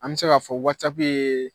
An bɛ se k'a fɔ wasapu ye